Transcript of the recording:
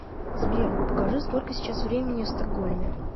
сбер покажи сколько сейчас времени в стокгольме